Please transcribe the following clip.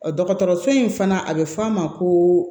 dɔgɔtɔrɔso in fana a bɛ f'a ma ko